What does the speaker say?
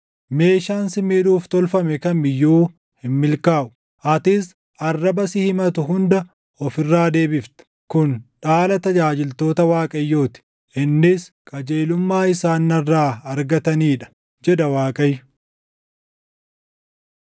meeshaan si miidhuuf tolfame kam iyyuu hin milkaaʼu; atis arraba si himatu hunda of irraa deebifta. Kun dhaala tajaajiltoota Waaqayyoo ti; innis qajeelummaa isaan narraa argatanii dha” jedha Waaqayyo.